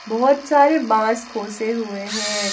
बहोत सारे बांस खोसे हुए हैं।